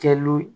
Kɛlu